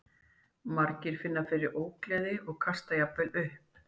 Margir finna fyrir ógleði og kasta jafnvel upp.